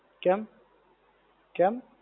કેમ? કેમ?